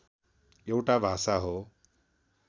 एउटा भाषा हो